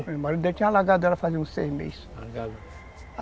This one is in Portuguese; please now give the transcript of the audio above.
O marido dele tinha largado ela fazia uns seis meses.